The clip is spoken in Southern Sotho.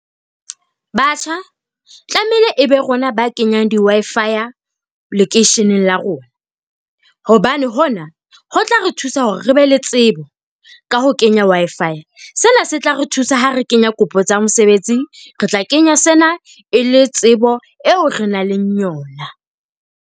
Batjha, tlameile e be rona ba kenyang di-Wi-Fi-ya lekeisheneng la rona. Hobane hona ho tla re thusa hore re be le tsebo ka ho kenya Wi-Fi. Sena se tla re thusa ha re kenya kopo tsa mosebetsi. Re tla kenya sena e le tsebo eo re nang leng yona.